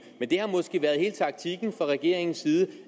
men det har måske været hele taktikken fra regeringens side